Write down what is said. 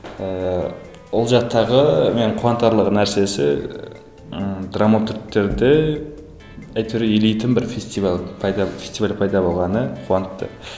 ііі ол жақтағы мені қуантарлық нәрсесі ы драматургтерде әйтеуір елейтін бір фестивал пайда фестиваль пайда болғаны қуантты